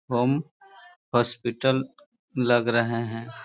Home hospital लग रहें हैं।